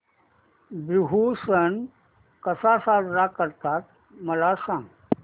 बिहू सण कसा साजरा करतात मला सांग